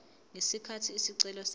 ngesikhathi isicelo sakhe